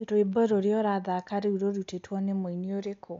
rwĩmbo rũrĩa urathaka riu rurutitwo ni muini ũrĩkũ